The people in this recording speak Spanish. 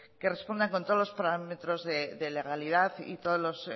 que respondan con todos los parámetros de legalidad y todos los